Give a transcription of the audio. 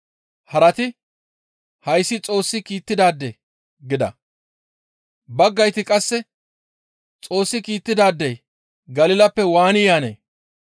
Harati, «Hayssi Xoossi kiittidaade» gida; baggayti qasse, «Xoossi kiittidaadey Galilappe waani yaanee?